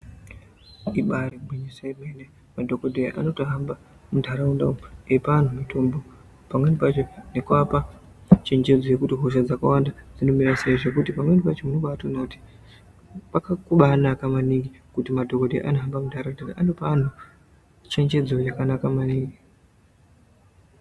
Ibari gwinyiso remene madhokodheya anohamba mundaraunda umu eipa antu mitombo pamweni pacho nekuvapa chenjedzo nekuti hosha dzakawanda dzinomira sei nekuti pamweni pacho unobaona kuti zvakabanaka maningi kuti madhokoteya anohamba mundaraunda anopa antu chenjedzo yakanaka maningi.